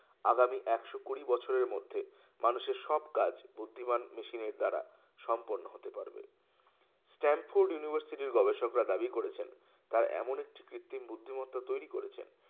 আগামী একশো কুড়ি বছরের মধ্যে মানুষের সব কাজ বুদ্ধিমান মেশিনের দ্বারা সম্পূর্ণ হতে পারবে Stanford University গবেষকরা দাবি করেছেন তারা এমন একটি কৃত্রিম বুদ্ধিমত্তা তৈরি করেছেন